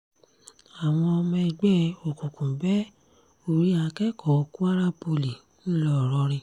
àwọn ọmọ ẹgbẹ́ òkùnkùn bẹ́ orí akẹ́kọ̀ọ́ kwara poli ńlọrọrìn